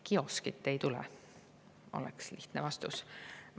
Kioskit ei tule, oleks lihtne vastus.